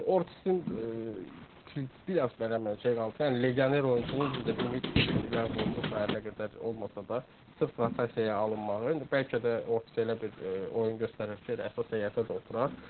Ortizin bir az belə şey qaldı ki, yəni legioner oyunçunun düzdür limit qoyulub, nə qədər olmasa da sırf rotasiyaya alınmağı, indi bəlkə də Ortiz elə bir oyun göstərər ki, elə əsas heyətə də oturar.